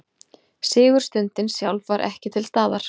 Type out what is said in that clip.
Sigurstundin sjálf var ekki til staðar